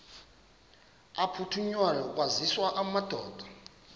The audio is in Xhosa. aphuthunywayo kwaziswe amadoda